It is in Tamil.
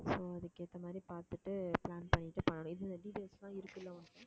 so அதுக்கு ஏத்த மாதிரி பார்த்துட்டு plan பண்ணிட்டு பண்ணணும், இதில details எல்லாம் இருக்கு இல்ல உன்~